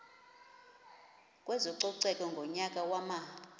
kwezococeko ngonyaka wama